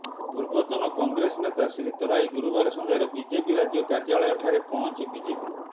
ପୂର୍ବତନ କଂଗ୍ରେସ ନେତା ଶ୍ରୀ ତରାଇ ଗୁରୁବାର ସନ୍ଧ୍ୟାରେ ବିଜେପି ରାଜ୍ୟ କାର୍ଯ୍ୟାଳୟଠାରେ ପହଞ୍ଚି ବିଜେପି